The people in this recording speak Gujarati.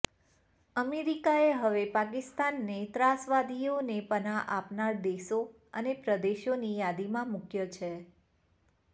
અમેરિકાએ હવે પાકિસ્તાનને ત્રાસવાદીઓને પનાહ આપનાર દેશો અને પ્રદેશોની યાદીમાં મુકયો છે